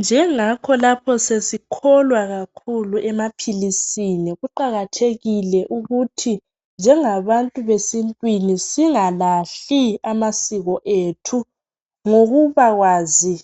Njengakho lapho sesikholwa kakhulu emaphilisini kuqakathekile ukuthi njengabantu besintwini singalahli amasikho ethu ngokuba kwazi